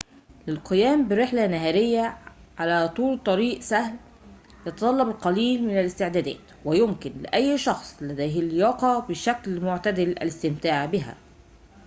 للقيام برحلة نهارية على طول طريق سهل يتطلب القليل من الاستعدادات ويمكن لأي شخص لديه لياقة بشكل معتدل الاستمتاع بها